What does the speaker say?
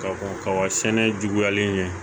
Ka ko kaba sɛnɛ juguyalen ɲɛ